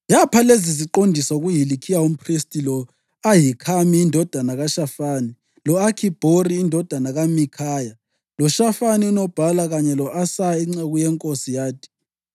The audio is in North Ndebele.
Yapha leziziqondiso kuHilikhiya umphristi, lo-Ahikhami indodana kaShafani, lo-Akhibhori indodana kaMikhaya loShafani unobhala kanye lo-Asaya inceku yenkosi, yathi: